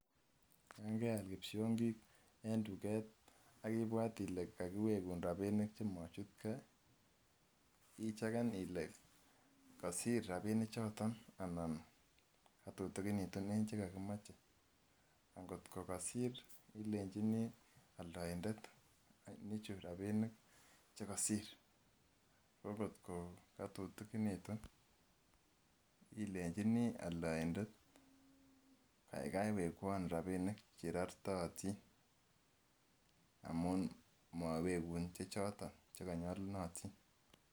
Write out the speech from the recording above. Yangeal kipsiongik eng duket akibwat ile kakiwekun rapinik chemachutkei icheken ile kosir rapinichoton anan katutukinitun en chekokimoche angotkokosir ilenjini alndoindet nichu rapinik chekosir kokotkoo katutikinitu ilenjin alndaindet kaikai wekwon rapinik cherortootin amun mowekun chechoton chekonyolunotin